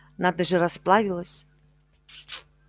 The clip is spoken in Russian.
надо же расплавилась